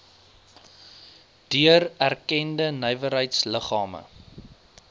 deur erkende nywerheidsliggame